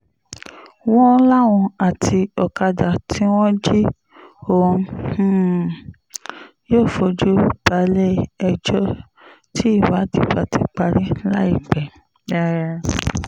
wọ́n láwọn àti ọ̀kadà tí wọ́n jí ọ̀hún um yóò fojú balẹ̀-ẹjọ́ tí ìwádìí bá ti parí láìpẹ́ um